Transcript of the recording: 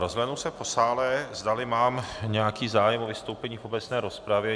Rozhlédnu se po sále, zdali mám nějaký zájem o vystoupení v obecné rozpravě.